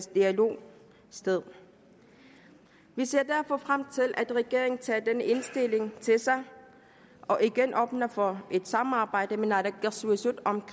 dialog sted vi ser derfor frem til at regeringen tager den indstilling til sig og igen åbner for et samarbejde med naalakkersuisut om